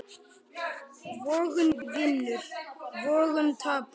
Vogun vinnur, vogun tapar.